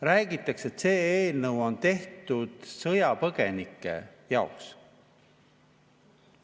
Räägitakse, et see eelnõu on tehtud sõjapõgenike jaoks.